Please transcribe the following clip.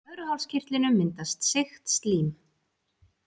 Í blöðruhálskirtlinum myndast seigt slím.